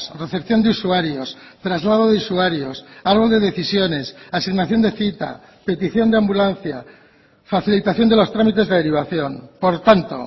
recepción de usuarios traslado de usuarios árbol de decisiones asignación de cita petición de ambulancia facilitación de los trámites de derivación por tanto